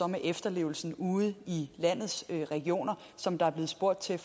med efterlevelsen ude i landets regioner som der er blevet spurgt til